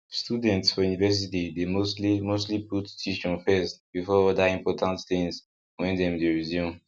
students for university dey mostly mostly put tuition first before other important things when dem dey resume